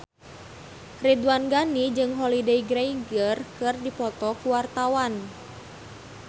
Ridwan Ghani jeung Holliday Grainger keur dipoto ku wartawan